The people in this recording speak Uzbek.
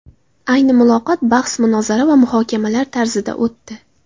Ayni muloqot bahs-munozara va muhokamalar tarzida o‘tdi.